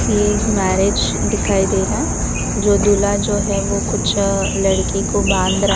ये एक मैरिज दिखाई दे रहा है जो दूल्हा जो है वो कुछ लड़की को बांध रहा--